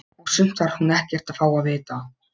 Og sumt þarf hún ekkert að fá að vita.